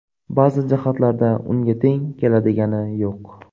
Ba’zi jihatlarda unga teng keladigani yo‘q.